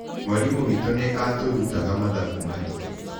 Mwarimũ witũ nĩ aatũrutaga mathabu maritũ.